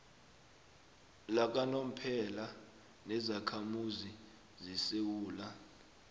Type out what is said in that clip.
lakanomphela nezakhamuzi zesewula